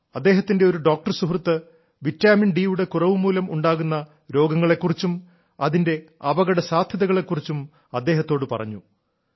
റെഡ്ഡിയുടെ ഒരു ഡോക്ടർ സുഹൃത്ത് വിറ്റാമിൻഡി യുടെ കുറവു മൂലം ഉണ്ടാകുന്ന രോഗങ്ങളെ കുറിച്ചും അതിന്റെ അപകട സാധ്യതകളെ കുറിച്ചും അദ്ദേഹത്തോടു പറഞ്ഞു